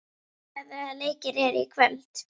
Úlfdís, hvaða leikir eru í kvöld?